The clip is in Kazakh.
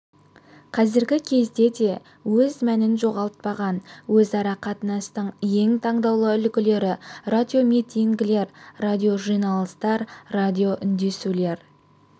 қазіргі кезде де өз мәнін жоғалтпаған өзара қатынастың ең таңдаулы үлгілері радиоминтигілер радиожиналыстар радиоүндесулер